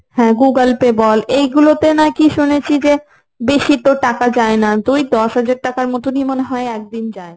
হ্যাঁ google pay বল এগুলোতে নাকি শুনেছি যে বেশি তোর টাকা যায় না। তো ওই দশ হাজার টাকার মতনই ধর একদিন যায়।